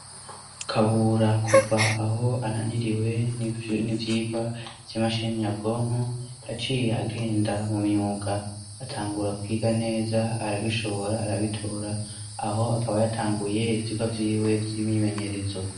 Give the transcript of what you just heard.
Kabura kuva aho ananiriwe n'ivyigwa vy'imashini nabwonko yaciye agenda mu myuga atangura kwiga neza arabishobora arabitora aho akaba yatanguye ivyigwa vyiwe vy'imimenyerezo.